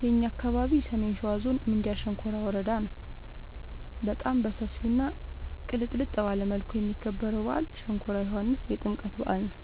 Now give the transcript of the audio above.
የእኛ አካባቢ ሰሜን ሸዋ ዞን ምንጃር ሸንኮራ ወረዳ ነው። በጣም በሰፊው እና ቅልጥልጥ ባለ መልኩ የሚከበረው በአል ሸንኮራ ዮኋንስ የጥምቀት በአል ነው።